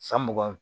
San mugan